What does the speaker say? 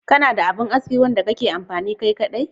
Kana da abin aski wanda kake amfani kai kaɗai?